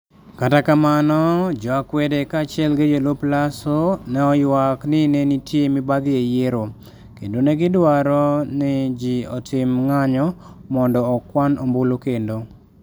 Kata kamano, jo akwede kaachiel gi jolup Lasso, ne oywak ni ne nitie mibadhi e yiero, kendo ne gidwaro ni ji otim ng'anyo mondo okwan ombulu kendo.